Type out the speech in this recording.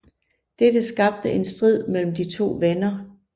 Dette skabte en strid mellem de to venner